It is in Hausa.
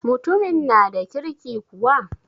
Mutumin na da kirki kuwa?